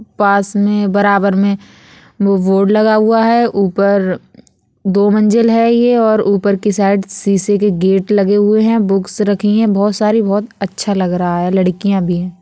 पास में बराबर में वो बोर्ड लगा हुआ है| ऊपर दो मंजिल है ये और उपर की साइड शीशे के गेट लगे हुए है| बुक्स रखी है बहुत सारी बहुत अच्छा लग रहा है| लड़कियां भी है।